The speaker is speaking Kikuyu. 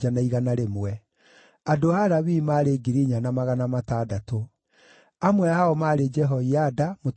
amwe ao maarĩ Jehoiada, mũtongoria wa nyũmba ya Harũni ũrĩa warĩ na andũ 3,700,